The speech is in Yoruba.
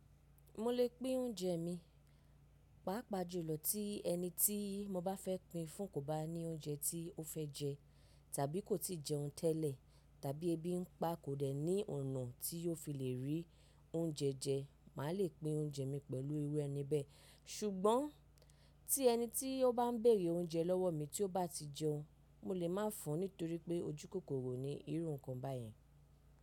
Mo lè pín oúnjẹ mi, pàápàá jùlọ tí ẹni tí mo bá fẹ́ pin fún kò bá ní oúnjẹ tí ó fẹ́ jẹ tàbí kò tí ì jẹun tẹ́lẹ̀, tàbí ebi n pa kò dẹ́ ní ọ̀nà tí ó fi lè rí oúnjẹ jẹ, màá lè pín oúnjẹ mi pẹ̀lú irú ẹni bẹ́ẹ̀. Ṣùgbọ́n tí ẹnití o ba n bèèrè oúnjẹ lọwọ mí tí ó bá ti jẹun, mo lè má fún, nítorí pé ojú kòkòrò ni irú ǹkan bá yẹn.